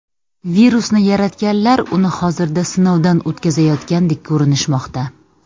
Virusni yaratganlar uni hozirda sinovdan o‘tkazayotgandek ko‘rinishmoqda.